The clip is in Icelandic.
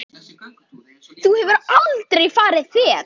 Þá hefur þú aldrei farið fet.